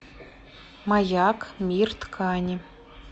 маяк мир ткани